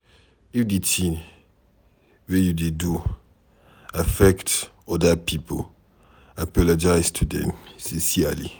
If di thing wey you do affect oda pipo, apologize to them sincerely